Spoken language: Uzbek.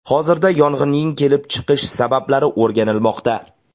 Hozirda yong‘inning kelib chiqish sabablari o‘rganilmoqda.